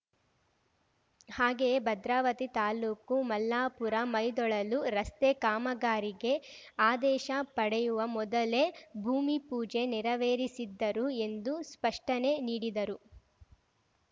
ಹಾಗೆಯೇ ಭದ್ರಾವತಿ ತಾಲೂಕು ಮಲ್ಲಾಪುರಮೈದೊಳಲು ರಸ್ತೆ ಕಾಮಗಾರಿಗೆ ಆದೇಶ ಪಡೆಯುವ ಮೊದಲೇ ಭೂಮಿ ಪೂಜೆ ನೆರವೇರಿಸಿದ್ದರು ಎಂದು ಸ್ಪಷ್ಟನೆ ನೀಡಿದರು